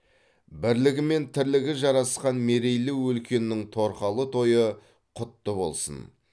бірлігі мен тірлігі жарасқан мерейлі өлкенің торқалы тойы құтты болсын